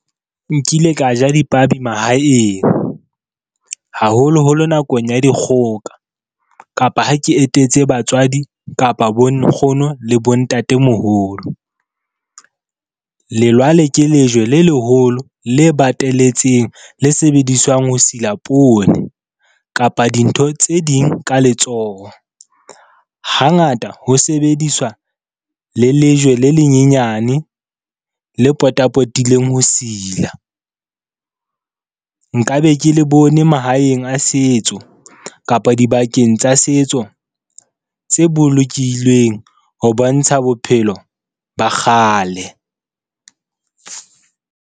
Nkile ka ja dipabi mahaeng, haholoholo nakong ya dikgoka, kapa ha ke etetse batswadi kapa bonkgono le bontatemoholo. Lelwale ke lejwe le leholo, le bateletseng, le sebediswang ho sila poone kapa dintho tse ding ka letsoho. Hangata ho sebediswa le lejwe le lenyenyane le potapotileng ho sila. Nka be ke le bone mahaeng a setso, kapa dibakeng tsa setso tse bolokilweng ho bontsha bophelo ba kgale.